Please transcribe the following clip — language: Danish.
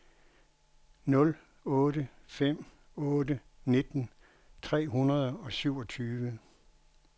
nul otte fem otte nitten tre hundrede og syvogtyve